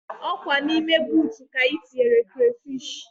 Ọkwa na ime boota ka ị tinyere krafish